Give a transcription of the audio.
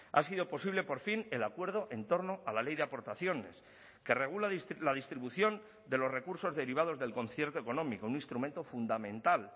ha sido posible por fin el acuerdo en torno a la ley de aportaciones que regula la distribución de los recursos derivados del concierto económico un instrumento fundamental